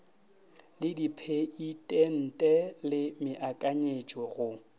le dipheitente le meakanyetšo go